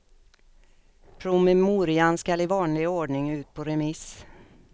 Promemorian skall i vanlig ordning ut på remiss.